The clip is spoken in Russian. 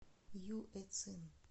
юэцин